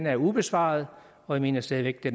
er ubesvaret og jeg mener stadig væk at